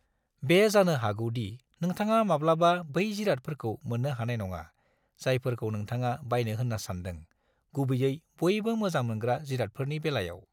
बे जानो हागौ दि नोंथाङा माब्लाबा बै जिरादफोरखौ मोननो हानाय नङा, जायफोरखौ नोंथाङा बायनो होनना सान्दों, गुबैयै बयबो मोजां मोनग्रा जिरादफोरनि बेलायाव।